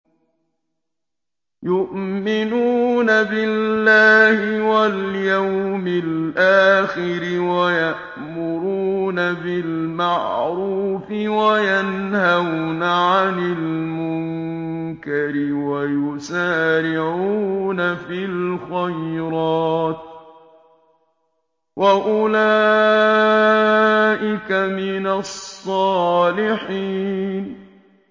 يُؤْمِنُونَ بِاللَّهِ وَالْيَوْمِ الْآخِرِ وَيَأْمُرُونَ بِالْمَعْرُوفِ وَيَنْهَوْنَ عَنِ الْمُنكَرِ وَيُسَارِعُونَ فِي الْخَيْرَاتِ وَأُولَٰئِكَ مِنَ الصَّالِحِينَ